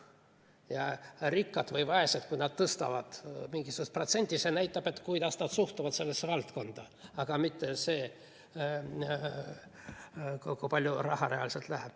Ja kui rikkad või vaesed tõstavad mingisugust protsenti, siis see näitab, kuidas nad suhtuvad sellesse valdkonda, aga mitte see, kui palju raha reaalselt sinna läheb.